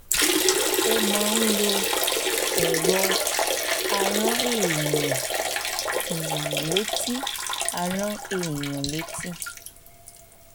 ó máa ń lo um ẹ̀rọ arán èèyàn létí arán èèyàn létí